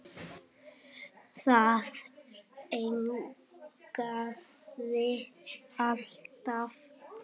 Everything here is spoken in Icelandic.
Það yljaði alltaf.